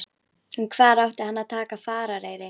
En hvar átti hann að taka farareyri?